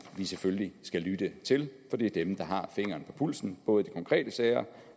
vi selvfølgelig skal lytte til for det er dem der har fingeren på pulsen både i de konkrete sager